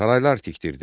Saraylar tikdirdi.